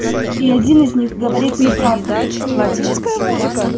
и один из них говорит неправду